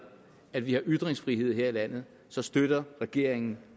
at vi har ytringsfrihed her i landet så støtter regeringen